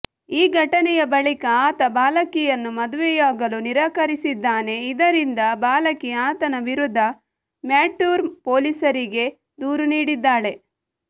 ಈ ಘಟನೆಯ ಬಳಿಕ ಆತ ಬಾಲಕಿಯನ್ನು ಮದುವೆಯಾಗಲು ನಿರಾಕರಿಸಿದ್ದಾನೆ ಇದರಿಂದ ಬಾಲಕಿ ಆತನ ವಿರುದ್ಧ ಮ್ಯಾಟೂರ್ ಪೊಲೀಸರಿಗೆ ದೂರು ನೀಡಿದ್ದಾಳೆ